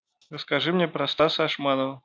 расскажи мне про стаса ашманова